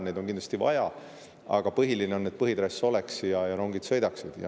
Neid on kindlasti vaja, aga põhiline on, et põhitrass oleks olemas ja rongid sõidaksid.